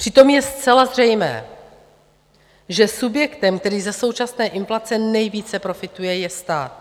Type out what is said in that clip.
Přitom je zcela zřejmé, že subjektem, který za současné inflace nejvíce profituje, je stát.